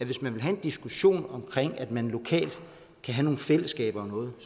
hvis man vil have en diskussion om at man lokalt kan have nogle fællesskaber om noget